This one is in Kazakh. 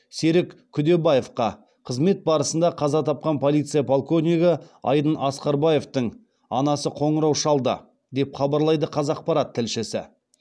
серік күдебаевқа қызмет барысында қаза тапқан полиция полковнигі айдын асқарбаевтың анасы қоңырау шалды деп хабарлайды қазақпарат тілшісі